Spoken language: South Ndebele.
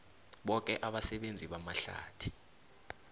boke abasebenzi bamahlathi